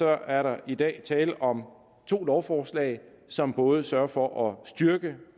er der i dag tale om to lovforslag som både sørger for at styrke